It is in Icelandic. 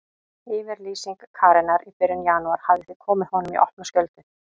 Yfirlýsing Karenar í byrjun janúar hafði því komið honum í opna skjöldu.